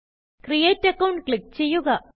create account click ചെയ്യുക